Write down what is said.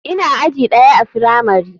Ina aji ɗaya a firamari.